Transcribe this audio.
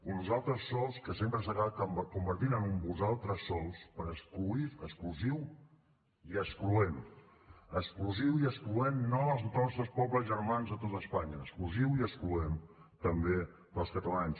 un nosaltres sols que sempre s’ha acabat convertint en un vosaltres sols per exclusiu i excloent exclusiu i excloent no dels nostres pobles germans de tot espanya exclusiu i excloent també dels catalans